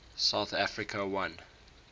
south africa won